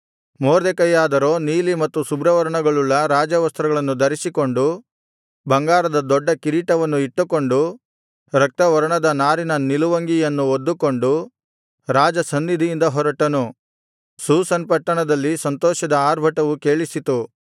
ಮೊರ್ದೆಕೈಯಾದರೋ ನೀಲಿ ಮತ್ತು ಶುಭ್ರವರ್ಣಗಳುಳ್ಳ ರಾಜವಸ್ತ್ರಗಳನ್ನು ಧರಿಸಿಕೊಂಡು ಬಂಗಾರದ ದೊಡ್ಡ ಕಿರೀಟವನ್ನು ಇಟ್ಟುಕೊಂಡು ರಕ್ತವರ್ಣದ ನಾರಿನ ನಿಲುವಂಗಿಯನ್ನು ಹೊದ್ದುಕೊಂಡು ರಾಜಸನ್ನಿಧಿಯಿಂದ ಹೊರಟನು ಶೂಷನ್ ಪಟ್ಟಣದಲ್ಲಿ ಸಂತೋಷದ ಆರ್ಭಟವು ಕೇಳಿಸಿತು